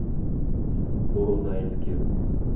поронайске